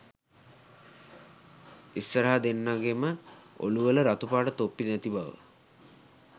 ඉස්සරහ දෙන්නගෙම ඔලු වල රතුපාට තොප්පි නැති බව